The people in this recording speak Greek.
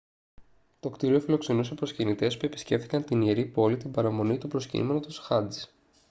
το κτίριο φιλοξενούσε προσκυνητές που επισκέφτηκαν την ιερή πόλη την παραμονή του προσκυνήματος χατζ